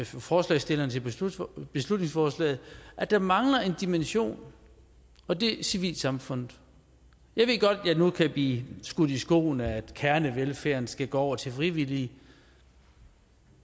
forslagsstillerne til beslutningsforslaget at der mangler en dimension og det er civilsamfundet jeg ved godt at jeg nu kan blive skudt i skoene at kernevelfærden skal gå over til frivillige